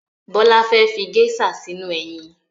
Bọ́lá fẹ́ fi geisha sínú eyin